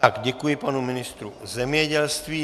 Děkuji panu ministru zemědělství.